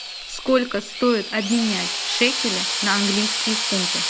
сколько стоит обменять шекели на английские фунты